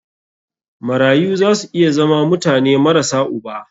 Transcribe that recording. Marayu za su iya zama mutane marasa uba.